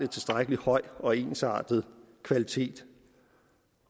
tilstrækkelig høj og ensartet kvalitet